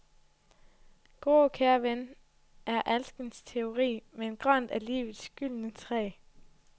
Grå, kære ven, er alskens teori, men grønt er livets gyldne træ.